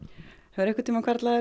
hefur einhvern tímann hvarflað